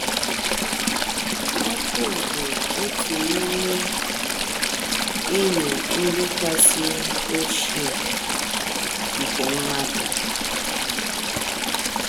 Ọkụ bụ otu n’ime enyi ndị kasị ochie nke mmadụ.